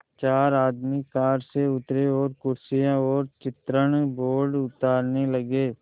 चार आदमी कार से उतरे और कुर्सियाँ और चित्रण बोर्ड उतारने लगे